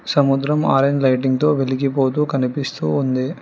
సముద్రం orange lighting తో వెలిగిపోతూ కనిపిస్తూ ఉంది.